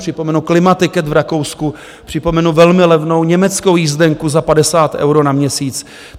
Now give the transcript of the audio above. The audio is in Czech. Připomenu Klimaticket v Rakousku, připomenu velmi levnou německou jízdenku za 50 eur na měsíc.